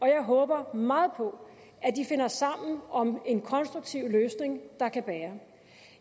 jeg håber meget på at de finder sammen om en konstruktiv løsning der kan bære